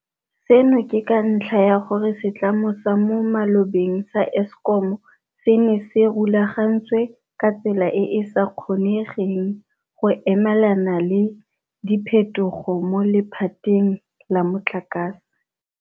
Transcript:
Seno ke ka ntlha ya gore setlamo sa mo malobeng sa Eskom se ne se rulagantswe ka tsela e e sa kgoneng go emelana le diphetogo mo lephateng la motlakase.